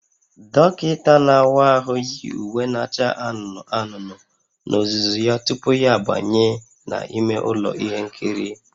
Dọkịta na-awa ahụ yi uwe na-acha anụnụ anụnụ n'ozuzu ya tupu ya abanye n'ime ụlọ ihe nkiri